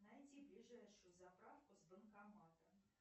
найти ближайшую заправку с банкоматом